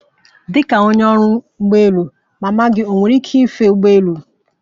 Dịka onye ọrụ ụgbọ elu, mama gị enwere ike ife ụgbọelu?